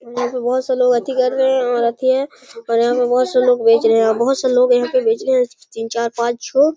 यहाँ पे बहोत सारे लोग अथी कर रहे हैं और अथी हैं और यहाँ पे बहोत से लोग बेच रहे हैं और यहाँ पे बहोत से लोग यहाँ पे बेच रहे हैं तीन चार पांच छह --